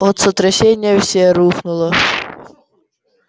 от сотрясения все рухнуло